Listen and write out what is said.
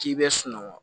K'i bɛ sunɔgɔ